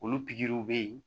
Olu pikiriw bɛ yen